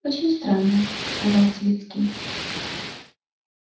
очень странно сказал свицкий